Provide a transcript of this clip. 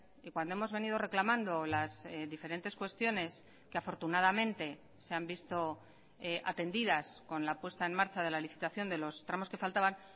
y cuando hemos venido reclamando las diferentes cuestiones que afortunadamente se han visto atendidas con la puesta en marcha de la licitación de los tramos que faltaban